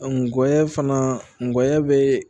ngɔyɔ fana ngɔyɔya bɛ